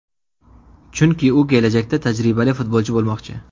Chunki u kelajakda tajribali futbolchi bo‘lmoqchi.